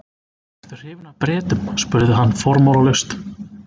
Ertu hrifinn af Bretum? spurði hann formálalaust.